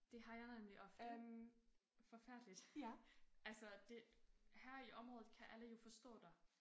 Det har jeg nemlig ofte. Forfærdeligt altså det her i området kan alle jo forstå dig